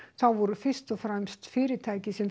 þá voru fyrst og fremst fyrirtæki sem